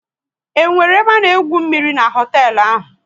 Is there swimming pool at that hotel?